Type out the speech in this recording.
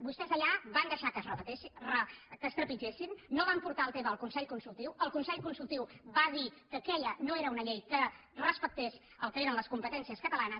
vostès allà van deixar que es trepitgessin no van portar el tema al consell consultiu i el consell consultiu va dir que aquella no era una llei que respectés el que eren les competències catalanes